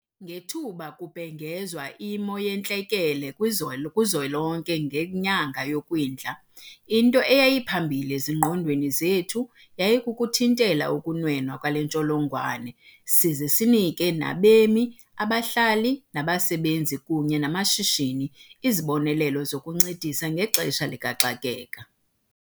Ngethuba kubhengezwe iMo yeNtlekele kwizwe kwiZwelonke ngenyanga yoKwindla, into eyayiphambili ezingqondweni zethu yayikuthintela ukunwenwa kwale ntsholongwane size sinike nabemi, abahlali, abasebenzi kunye namashishini izibonelelo zokuncedisa ngexesha likaxakeka.